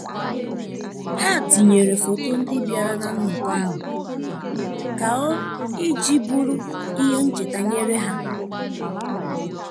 Ha tinyere foto ndị biara na nnọkọ ahụ ka o iji bụrụ ihe ncheta nyere ya.